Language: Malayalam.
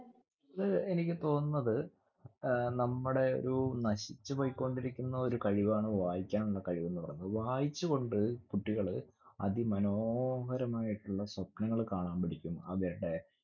അതെ. എനിക്ക് തോന്നുന്നത് ഏർ നമ്മടെ ഒരു നശിച്ചു പോയ്കൊണ്ടിരിക്കുന്ന ഒരു കഴിവാണ് വായിക്കാനുള്ള കഴിവെന്ന് പറഞ്ഞാ. വായിച്ചുകൊണ്ട് കുട്ടികള് അതിമനോഹരമായിട്ടുള്ള സ്വപ്‌നങ്ങൾ കാണാൻ പഠിക്കും. അവരുടെ